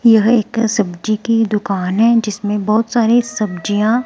यह एक सब्जी की दुकान है जिसमें बहोत सारी सब्जियां--